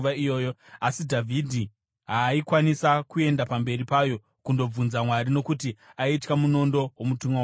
Asi Dhavhidhi haaikwanisa kuenda pamberi payo kundobvunza Mwari nokuti aitya munondo womutumwa waJehovha.